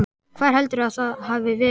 Hvar heldurðu að það hafi verið?